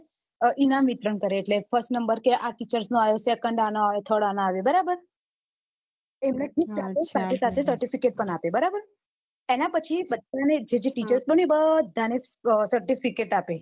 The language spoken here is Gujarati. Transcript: ઇનામ વિતરણ કરે first number teacher નો આયો second આનો આયો third આવો આયો બરાબર એમને gift આપે સાથે સાથે certificate પણ આપે એના પછી બધા ને જે જે teacher બન્યું એ બધા ને certificate આપે